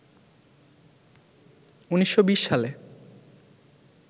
১৯২০ সালে